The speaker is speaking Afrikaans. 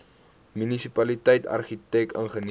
munisipaliteit argitek ingenieur